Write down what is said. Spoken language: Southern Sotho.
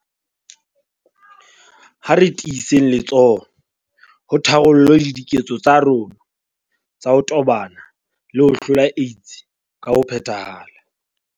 Ha re tiisetseng letsoho ho tharollo le diketso tsa rona tsa ho tobana le ho hlola AIDS ka ho phethahala.